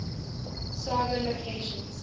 saga locations